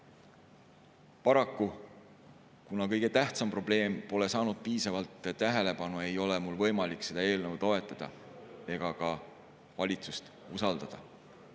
Paraku, kuna kõige tähtsam probleem pole saanud piisavalt tähelepanu, ei ole mul võimalik seda eelnõu toetada ega ka valitsust usaldada.